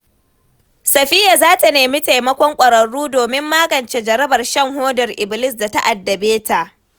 Safiya za ta nemi taimakon ƙwararru domin magance jarabar shan hodar ibilis da ta addabe ta.